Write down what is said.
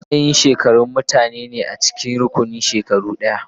Matsayin shekaru mutane ne a cikin rukunin shekaru ɗaya.